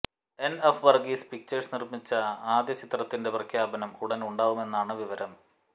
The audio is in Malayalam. എന് എഫ് വര്ഗീസ് പിക്ചേഴ്സ് നിര്മിക്കുന്ന ആദ്യ ചിത്രത്തിന്റെ പ്രഖ്യാപനം ഉടന് ഉണ്ടാകുമെന്നാണ് വിവരം